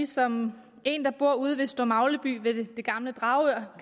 som en der bor ude ved store magleby ved det gamle dragør